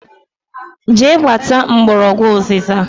Jee kpata mgbọrọgwụ ụzịza!